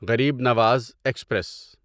Garib Nawaz express